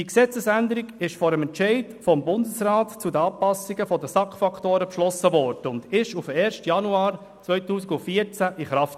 Diese Gesetzesänderung wurde vor dem Entscheid des Bundesrats zu den Anpassungen der SAK-Faktoren beschlossen und trat am 1. Januar 2014 in Kraft.